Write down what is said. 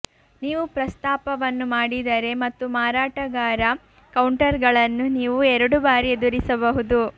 ನೀವು ಪ್ರಸ್ತಾಪವನ್ನು ಮಾಡಿದರೆ ಮತ್ತು ಮಾರಾಟಗಾರ ಕೌಂಟರ್ಗಳನ್ನು ನೀವು ಎರಡು ಬಾರಿ ಎದುರಿಸಬಹುದು